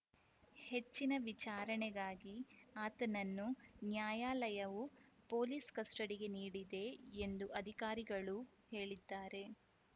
ಹೆಚ್ಚಿನ ವಿಚಾರಣೆಗಾಗಿ ಆತನನ್ನು ನ್ಯಾಯಾಲಯವು ಪೊಲೀಸ್‌ ಕಸ್ಟಡಿಗೆ ನೀಡಿದೆ ಎಂದು ಅಧಿಕಾರಿಗಳು ಹೇಳಿದ್ದಾರೆ